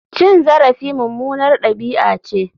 Cin zarafi mummunar dabi'a ce.